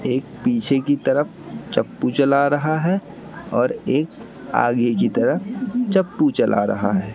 एक पीछे की तरफ चप्पू चला रहा है और एक आगे की तरह चप्पू चला रहा है।